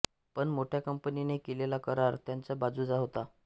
पण मोठ्या कंपनीने केलेला करार त्यांच्या बाजूचा होता